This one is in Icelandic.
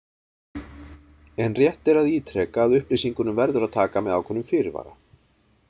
En rétt er að ítreka að upplýsingunum verður að taka með ákveðnum fyrirvara.